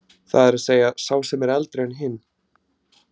Það er að segja sá sem er eldri en hinn.